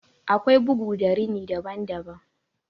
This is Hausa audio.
Akwai bugu da rini daban daban.